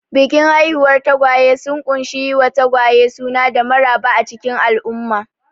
Bikin haihuwar tagwaye sun ƙunshi yi wa tagwaye suna da maraba a cikin al'umma.